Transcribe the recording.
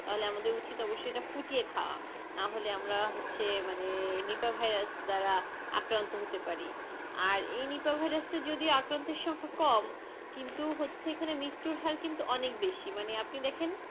তাহলে আমাদের উচিত এটা ফুটিয়ে খাওয়া নাহলে আমরা হচ্ছে মানে নিপা ভাইরাস দ্বারা আক্রান্ত হতে পারি আর এই নিপা ভাইরাসের যদিও আক্রান্তের সংখ্যা কম কিন্তু হচ্ছে এখানে মৃত্যুর হার কিন্তু অনেক বেশি মানে আপনি দেখেন,